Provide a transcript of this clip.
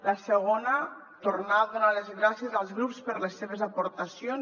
la segona tornar a donar les gràcies als grups per les seves aportacions